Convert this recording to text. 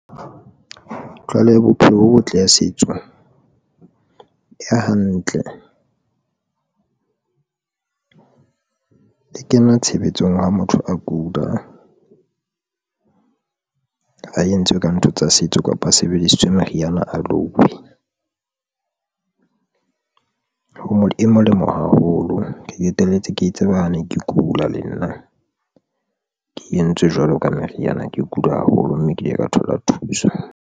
Tlwaelo ya bophelo bo botle ya setso e hantle e kena tshebetsong ha motho a kula a entswe ka ntho tsa setso, kapa sebedisitswe meriana a loiwe o ho molemo haholo. Ke qeteletse ke tseba a ne ke kula, le nna ke entswe jwalo ka meriana, ke kula haholo mme ke ile ka thola thuso.